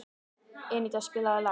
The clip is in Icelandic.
Eníta, spilaðu lag.